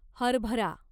हरभरा